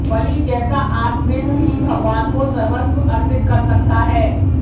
बलि जैसा आत्मविद् ही भगवान को सर्वस्व अर्पित कर सकता है